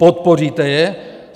Podpoříte je?